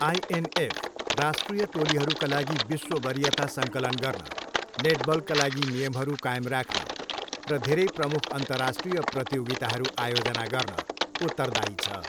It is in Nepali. आइएनएफ राष्ट्रिय टोलीहरूका लागि विश्व वरियता सङ्कलन गर्न, नेटबलका लागि नियमहरू कायम राख्न र धेरै प्रमुख अन्तर्राष्ट्रिय प्रतियोगिताहरू आयोजना गर्न उत्तरदायी छ।